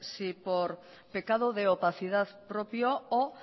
si por pecado de opacidad propio o